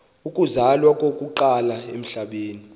uzalwa okokuqala emhlabeni